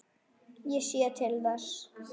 Ég sé til þess.